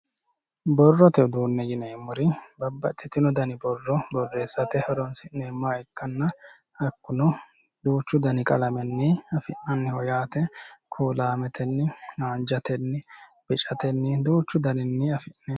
Borrote uduunne yineemmori babbaxxitino borro borreessate horoonsi'neemmoha ikkanna hakkuno duuchu dani qalamenni afi'nanniho yaate kuulaametenni haanjatenni bicatenni duuchu daninni